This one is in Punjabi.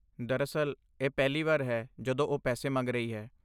ਦਰਅਸਲ, ਇਹ ਪਹਿਲੀ ਵਾਰ ਹੈ ਜਦੋਂ ਉਹ ਪੈਸੇ ਮੰਗ ਰਹੀ ਹੈ।